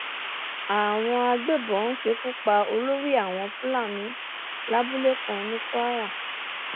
àwọn agbébọn ṣekú pa olórí àwọn fúlàní lábúlé kan ní kwara